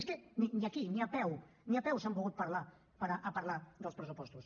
és que ni aquí ni a peu ni a peu s’han volgut parar a parlar dels pressupostos